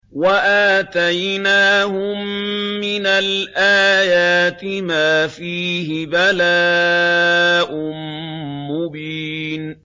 وَآتَيْنَاهُم مِّنَ الْآيَاتِ مَا فِيهِ بَلَاءٌ مُّبِينٌ